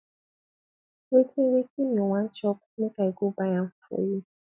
wetin wetin you wan chop make i go buy am for you